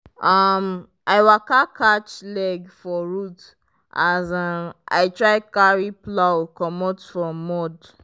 um i waka catch leg for root as um i try carry plow comot from mud.